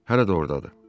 Hələ də ordadır.